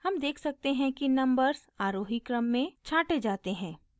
हम देख सकते हैं कि नंबर्स आरोही क्रम में छाँटे जाते हैं